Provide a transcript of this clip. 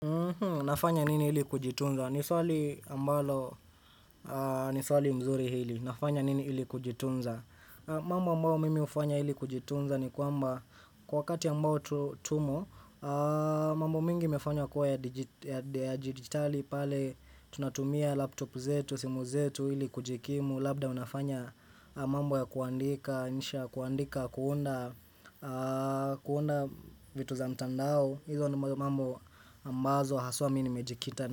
Nafanya nini ili kujitunza? Ni swali ambalo ni swali mzuri hili. Nafanya nini hili kujitunza? Mambo ambao mimi hufanya ili kujitunza ni kwamba kwa wakati ambao tu tumo, mambo mingi yamefanywa kuwa ya digitali pale tunatumia laptop zetu, simu zetu ili kujikimu. Labda unafanya mambo ya kuandika, insha ya kuandika, kuunda vitu za mtandao hizo ni mambo ambazo haswa mi nimejikita.